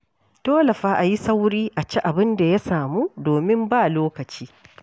Dole fa a yi sauri a ci abin da ya samu domin ba lokaci.